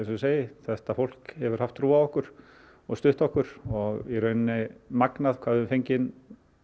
ég segi þetta fólk hefur haft trú á okkur og stutt okkur og í rauninni magnað hvað við fengið